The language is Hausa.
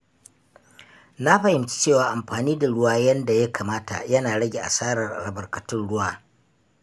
Na fahimci cewa amfani da ruwa yanda ya kamata yana rage asarar albarkatun ruwa.